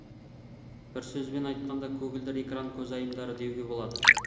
бір сөзбен айтқанда көгілдір экран көзайымдары деуге болады